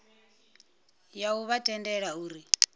ya u vha tendela uri